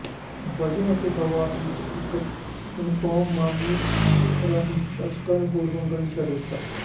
ਵਜੋਂ ਅਤੇ ਹਵਾਸ ਵਿਚ ਇਕ ਨਿਮਫੋਮਾਨੀਆਕ ਵਜੋਂ ਦਰਸ਼ਕਾਂ ਨੂੰ ਹੋਰ ਮੰਗਣ ਲਈ ਛੱਡ ਦਿੱਤਾ